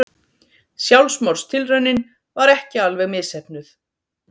Sjálfsmorðstilraunin var ekki alveg misheppnuð.